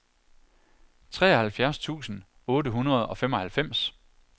treoghalvfjerds tusind otte hundrede og femoghalvfems